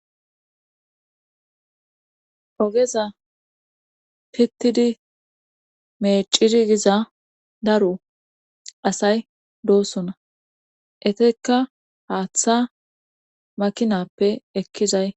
ogeza pittidi meecidi giza daro asay doosona etika haaththa makinappe ekkizay